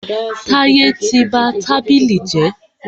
Táyẹ́ tí ba tábìlì jẹ́.